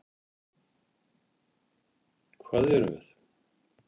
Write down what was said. Hvað erum við?